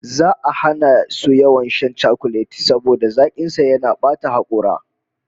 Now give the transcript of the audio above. Za'a hana su yawan shan chakulet saboda zakin sa yana bata hakora